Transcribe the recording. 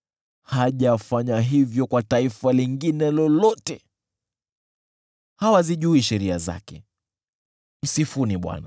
Hajafanya hivyo kwa taifa lingine lolote, hawazijui sheria zake. Msifuni Bwana .